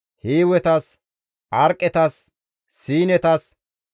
Hiiwetas, Arqetas, Siinetas,